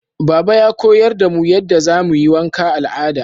Baba ya koyar da mu yadda zamuyi wanka al'ada